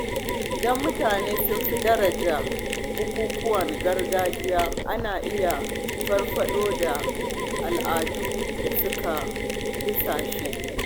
Idan mutane sun fi daraja bukukkuwan gargajiya, ana iya farfaɗo da al’adun da suka dusashe.